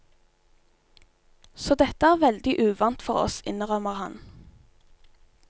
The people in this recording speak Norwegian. Så dette er veldig uvant for oss, innrømmer han.